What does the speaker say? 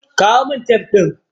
Kawo min tef ɗin.